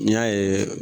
N'i y'a ye